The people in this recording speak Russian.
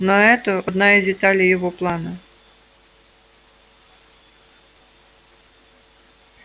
но это одна из деталей его плана